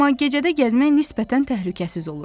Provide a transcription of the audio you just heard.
Amma gecədə gəzmək nisbətən təhlükəsiz olur.